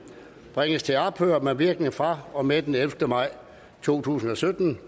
bringes til ophør med virkning fra og med den ellevte maj to tusind og sytten